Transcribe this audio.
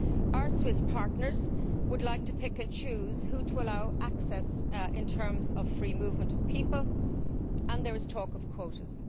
Our Swiss partners would like to pick and choose who to allow access to in terms of free movement of people, and there is talk of quotas.